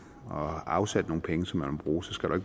og afsat nogle penge som man vil bruge så skal der